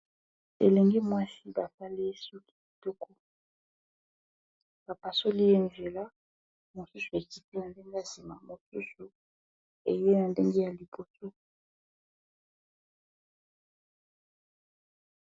Elenge mwasi basaliye suki kitoko bapasoli ,ye nzela na suki mosusu ekiti na ndenge ya nsima mosusu eye na ndenge ya liboso.